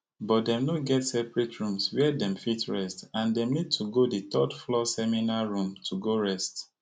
but dem no get separate rooms wia dem fit rest and dem need to go di thirdfloor seminar room to go rest